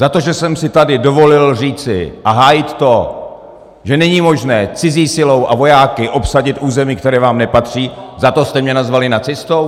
Za to, že jsem si tady dovolil říci a hájit to, že není možné cizí silou a vojáky obsadit území, které vám nepatří, za to jste mě nazvali nacistou?